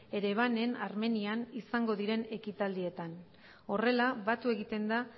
erevanen armenian izango diren ekitaldietan horrela batu egiten da